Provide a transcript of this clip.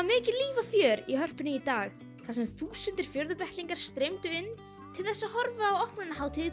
mikið líf og fjör í Hörpu í dag þar sem þúsundir streymdu inn til að horfa á opnunarhátíð